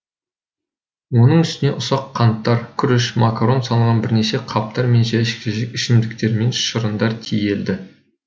оның үстіне ұсақ қанттар күріш макарон салынған бірнеше қаптар мен жәшік жәшік ішімдіктер мен шырындар тиеді